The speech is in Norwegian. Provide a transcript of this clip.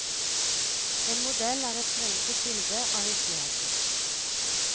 En modell er et forenklet bilde av virkeligheten.